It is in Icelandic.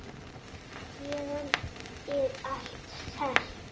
Héðan er allt selt.